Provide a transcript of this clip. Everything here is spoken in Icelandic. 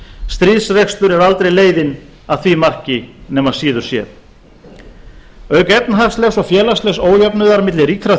stríðsrekstur er aldrei leiðin að því marki nema síður sé auk efnahagslegs og félagslegs ójöfnuðar milli ríkra